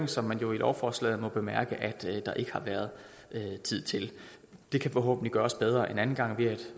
som man jo i lovforslaget må bemærke at der ikke har været tid til det kan forhåbentlig gøres bedre en anden gang ved at